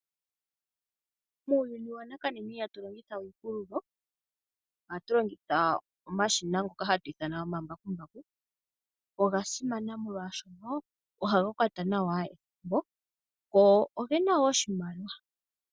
Muuyuni wanakanena ihatu longithawe iipululo , ohatu longitha omashina ngoka hatu ithana omambakumbaku . Oga simana molwaashono ohaga kwata nawa ethimbo, go ogena wo oshimaliwa.